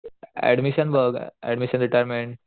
admission बघ admission retirement